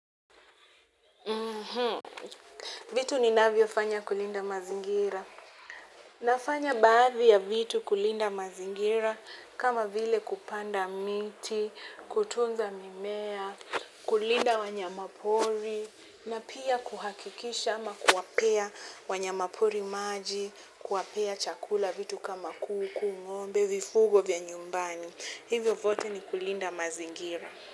Vitu ninavyo fanya kulinda mazingira. Nafanya baadhi ya vitu kulinda mazingira kama vile kupanda miti, kutunza mimea, kulinda wanyama pori, na pia kuhakikisha ama kuwapea wanyama pori maji, kuwapea chakula vitu kama kuku, ngombe, vifugo vya nyumbani. Hivyo vyote ni kulinda mazingira.